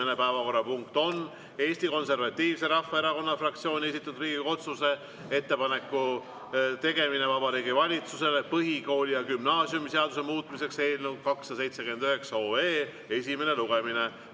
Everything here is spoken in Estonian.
Esimene päevakorrapunkt on Eesti Konservatiivse Rahvaerakonna fraktsiooni esitatud Riigikogu otsuse "Ettepaneku tegemine Vabariigi Valitsusele põhikooli- ja gümnaasiumiseaduse muutmiseks" eelnõu 279 esimene lugemine.